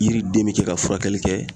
Yiri den be kɛ ka furakɛli kɛ